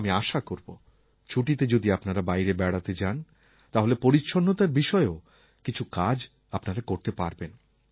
আমি আশা করব ছুটিতে যদি আপনারা বাইরে বেড়াতে যান তাহলে পরিচ্ছন্নতার বিষয়েও কিছু কাজ আপনারা করতে পারবেন